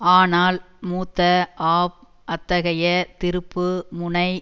ஆனால் மூத்த ஆப் அத்தகைய திருப்பு முனை